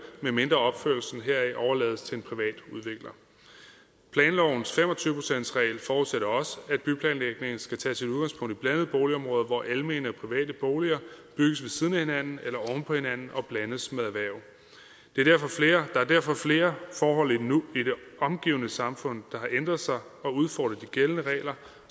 medmindre opførelsen overlades til en privat udvikler planlovens fem og tyve procentsregel forudsætter også at blandede boligområder hvor almene og private boliger bygges ved siden af hinanden eller oven på hinanden og blandes med erhverv der er derfor flere forhold endnu i det omgivende samfund der har ændret sig og udfordret de gældende regler